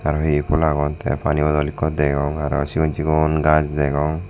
araw hi hi pul agon te pani bodol ekko degong araw sigon sigon gaz degong.